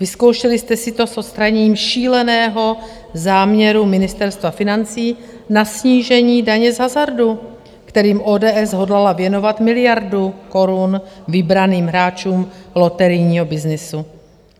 Vyzkoušeli jste si to s odstraněním šíleného záměru Ministerstva financí na snížení daně z hazardu, kterým ODS hodlala věnovat miliardu korun vybraným hráčům loterijního byznysu.